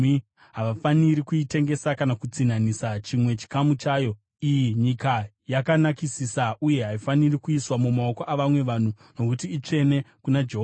Havafaniri kuitengesa kana kutsinhanisa chimwe chikamu chayo. Iyi inyika yakanakisisa uye haifaniri kuiswa mumaoko avamwe vanhu, nokuti itsvene kuna Jehovha.